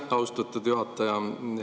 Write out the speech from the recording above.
Aitäh, austatud juhataja!